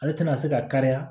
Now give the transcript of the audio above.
Ale tɛna se ka kariya